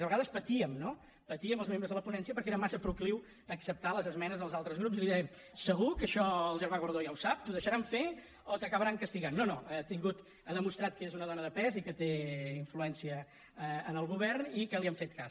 a vegades patíem no patíem els membres de la ponència perquè era massa procliu a acceptar les esmenes dels altres grups i li dèiem segur que això el germà gordó ja ho sap t’ho deixaran fer o t’acabaran castigant no no ha demostrat que és una dona de pes i que té influència en el govern i que li han fet cas